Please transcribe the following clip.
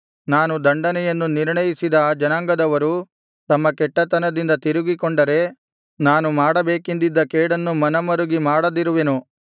ನಾನು ದಂಡನೆಯನ್ನು ನಿರ್ಣಯಿಸಿದ ಆ ಜನಾಂಗದವರು ತಮ್ಮ ಕೆಟ್ಟತನದಿಂದ ತಿರುಗಿಕೊಂಡರೆ ನಾನು ಮಾಡಬೇಕೆಂದಿದ್ದ ಕೇಡನ್ನು ಮನಮರುಗಿ ಮಾಡದಿರುವೆನು